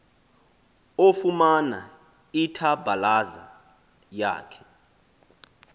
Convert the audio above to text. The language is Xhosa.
ofumana ithabhalaza yakhe